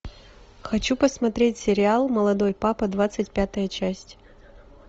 хочу посмотреть сериал молодой папа двадцать пятая часть